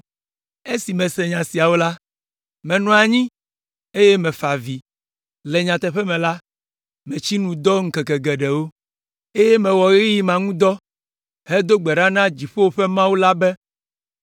Esi mese nya siawo la, menɔ anyi, eye mefa avi. Le nyateƒe me la, metsi nu dɔ ŋkeke geɖewo, eye mewɔ ɣeyiɣi ma ŋu dɔ hedo gbe ɖa na dziƒo ƒe Mawu la be,